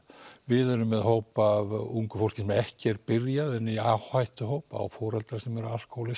við erum með hópa af ungu fólki sem er ekki byrjað en er í áhættuhópi eiga foreldra sem eru